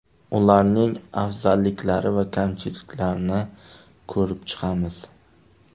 Ularning afzalliklari va kamchiliklarini ko‘rib chiqamiz.